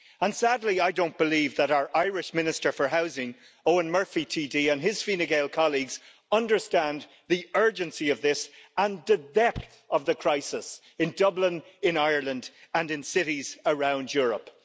And sadly, I don't believe that our Irish Minister for Housing, Eoghan Murphy TD, and his Fine Gael colleagues, understand the urgency of this and the depth of the crisis in Dublin, in Ireland, and in cities around Europe.